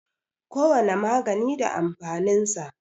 Kowane magani da amfanin sa.